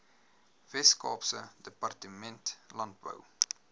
weskaapse departement landbou